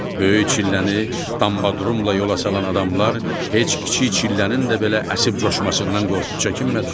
Böyük çilləni dambadrumla yola salan adamlar heç kiçik çillənin də belə əsib coşmasından qorxub çəkinmədilər.